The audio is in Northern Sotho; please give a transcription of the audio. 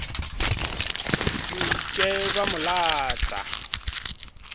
se ke ba mo lata